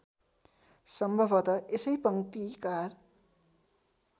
सम्भवत यसै पङ्क्तिकार